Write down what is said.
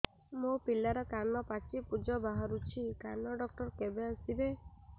ମୋ ପିଲାର କାନ ପାଚି ପୂଜ ବାହାରୁଚି କାନ ଡକ୍ଟର କେବେ ଆସିବେ